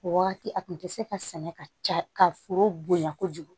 O wagati a tun tɛ se ka sɛnɛ ka ca ka foro bonya kojugu